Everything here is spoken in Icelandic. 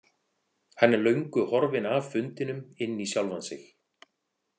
Hann er löngu horfinn af fundinum inn í sjálfan sig.